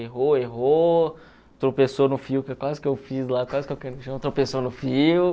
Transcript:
Errou, errou, tropeçou no fio, quase que eu fiz lá, quase que eu tropeçou no fio.